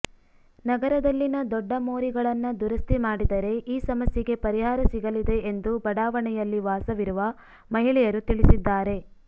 ನಗರದಲ್ಲಿನ ದೊಡ್ಡ ಮೋರಿಗಳನ್ನ ದುರಸ್ಥಿ ಮಾಡಿದರೆ ಈ ಸಮಸ್ಯೆಗೆ ಪರಿಹಾರ ಸಿಗಲಿದೆ ಎಂದು ಬಡಾವಣೆಯಲ್ಲಿ ವಾಸವಿರುವ ಮಹಿಳೆಯರು ತಿಳಿಸಿದ್ದಾರೆ